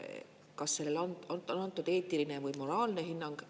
Kas sellele on antud eetiline või moraalne hinnang?